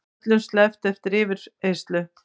Öllum sleppt eftir yfirheyrslu